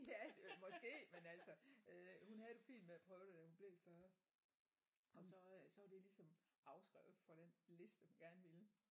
Ja det måske men altså øh hun havde det fint med at prøve det da hun blev 40 og så øh så var det ligesom afskrevet for den liste hun gerne ville